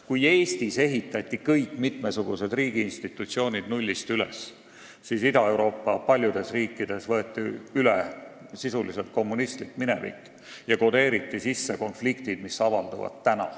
Kui Eestis ehitati mitmesugused riigiinstitutsioonid nullist üles, siis paljudes Ida-Euroopa riikides võeti sisuliselt üle kommunistlik minevik ja kodeeriti sisse konfliktid, mis praegu avalduvad.